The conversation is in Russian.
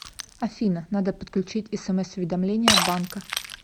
афина надо подключить смс уведомления от банка